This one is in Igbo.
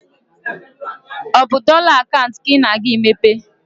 Is it the dollar account you are going to open?